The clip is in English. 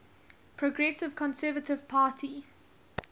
progressive conservative party